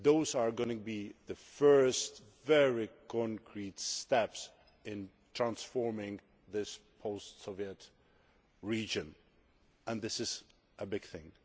are going to be the first, very concrete steps in transforming this post Soviet region and this is a big thing.